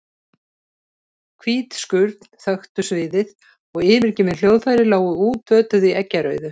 Hvít skurn þöktu sviðið og yfirgefin hljóðfæri lágu útötuð í eggjarauðu.